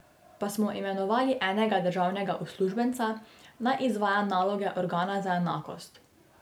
Pa smo imenovali enega državnega uslužbenca, naj izvaja naloge organa za enakost.